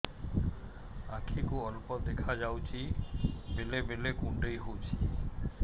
ଆଖି କୁ ଅଳ୍ପ ଦେଖା ଯାଉଛି ବେଳେ ବେଳେ କୁଣ୍ଡାଇ ହଉଛି